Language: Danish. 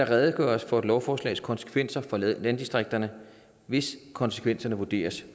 redegøres for et lovforslags konsekvenser for landdistrikterne hvis konsekvenserne vurderes at